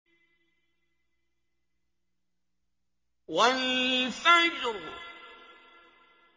وَالْفَجْرِ